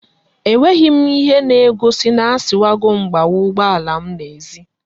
E nweghim ihe na egosi na asiwagom gbawa ugbo alam na ezi